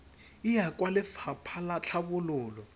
e ya kwa lefapha latlhabololo